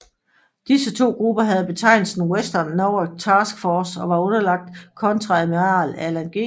Disse to grupper havde betegnelsen Western Naval Task Force og var underlagt Kontreadmiral Alan G